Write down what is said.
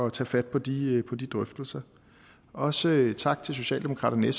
at tage fat på de på de drøftelser også tak til socialdemokraterne